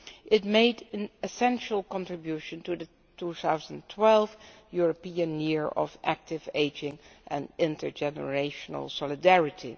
It made an essential contribution to the 2012 European Year of Active Ageing and Intergenerational Solidarity.